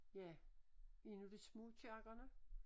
Ja inde ved smugkirkerne